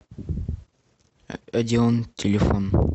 одеон телефон